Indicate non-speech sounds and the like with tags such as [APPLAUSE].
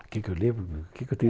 O que que eu [UNINTELLIGIBLE] o que que eu tenho